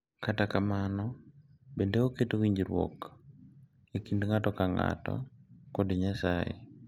Kata kamano, bende oketo winjruok e kind ng’ato ka ng’ato kod Nyasaye.